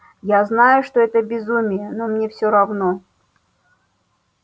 я знаю что это безумие но мне всё равно